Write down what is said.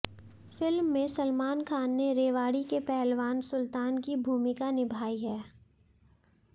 film में सलमान खान ने रेवाड़ी के पहलवान सुल्तान की भूमिका निभाई है